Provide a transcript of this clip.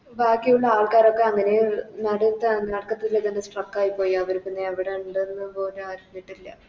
ബാക്കിയുള്ള ആൾക്കാരൊക്കെ അങ്ങനെ നടുത്തെ നടുക്കത്തെ Stuck ആയിപോയി അവര് പിന്നെ ഇവിടെ എന്തെന്ന് പോലും അറിഞ്ഞിട്ടില്ല